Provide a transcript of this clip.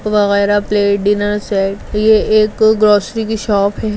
वगैरा plate dinner set ये एक ग्रॉसरी की शॉप है।